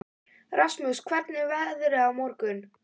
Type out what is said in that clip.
Rasmus, hvernig er veðrið á morgun?